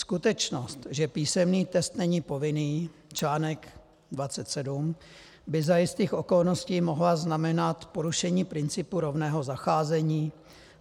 Skutečnost, že písemný test není povinný, článek 27, by za jistých okolností mohla znamenat porušení principu rovného zacházení.